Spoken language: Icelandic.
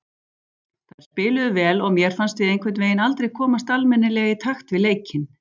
Þær spiluðu vel og mér fannst við einhvernveginn aldrei komast almennilega í takt við leikinn.